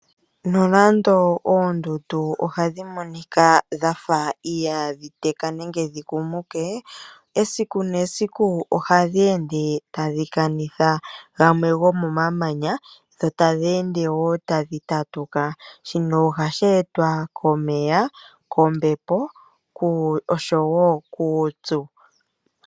Nonando oondundu ohadhi monika dha fa ihaadhi teka nenge dhi kumuke, esiku nesiku ohadhi ende tadhi kanitha gamwe gomomamanya dho tadhi ende wo tadhi tatuka. Shino ohashi etwa komeya, kombepo oshowo kuupyu.